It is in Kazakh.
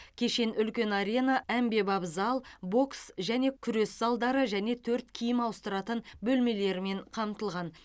кешен үлкен арена әмбебап зал бокс және күрес залдары және төрт киім ауыстыратын бөлмелермен қамтылған